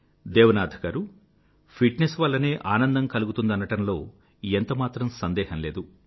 Devanath garu fitness వల్లనే ఆనందం కలిగుతుందనడంలో ఎంత మాత్రం సందేహం లేదు